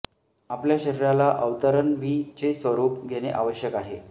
आपल्या शरीराला अवतरण व्ही चे स्वरुप घेणे आवश्यक आहे